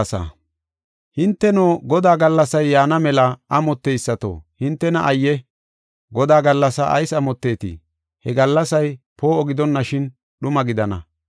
Hinteno, Godaa gallasay yaana mela amotteysato, hintena ayye! Godaa gallasaa ayis amotteetii? He gallasay poo7o gidonashin dhuma gidana.